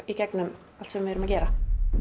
í gegnum allt sem við erum að gera